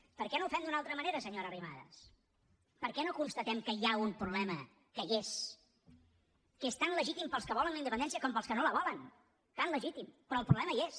per què no ho fem d’una altra manera senyora arrimadas per què no constatem que hi ha un problema que hi és que és tan legítim per als que volen la independència com per als que no la volen tan legítim però el problema hi és